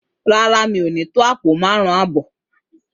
Rárá, mo ni to àpò márún abọ